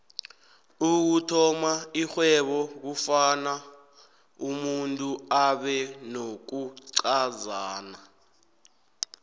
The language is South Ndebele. ukuthoma ixhwebo kufuna umuntu abenokuncazana